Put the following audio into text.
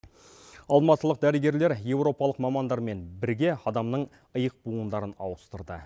алматылық дәрігерлер европалық мамандармен бірге адамның иық буындарын ауыстырды